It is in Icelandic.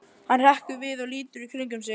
Hann hrekkur við og lítur í kringum sig.